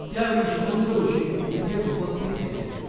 त्यावेळी शॄंग ऋषी तिथे उपस्थीत होते.